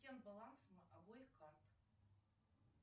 баланс обоих карт